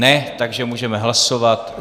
Ne, takže můžeme hlasovat.